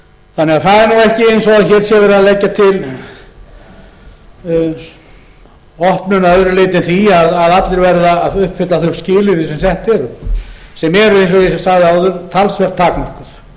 þannig að það er ekki eins og hér sé verið að leggja til opnun að öðru leyti en því að allir verði að uppfylla þau skilyrði sem sett eru sem eru eins og ég sagði áður talsvert takmark